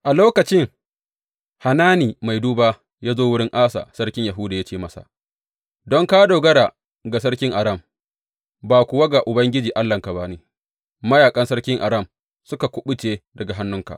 A lokacin Hanani mai duba ya zo wurin Asa sarkin Yahuda ya ce masa, Don ka dogara ga sarkin Aram, ba kuwa ga Ubangiji Allahnka ba ne mayaƙan sarkin Aram sun kuɓuce daga hannunka.